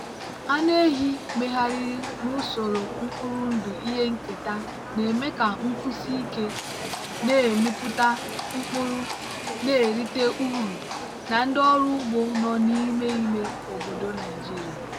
anụ ehi megharịrị n'usoro mkpụrụ ndụ ihe nketa na-eme ka nkwụsi ike na-amịpụta mkpụrụ na-erite uru na ndị ọrụ ugbo nọ n'ime ime obodo nigeria.